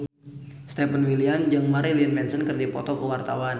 Stefan William jeung Marilyn Manson keur dipoto ku wartawan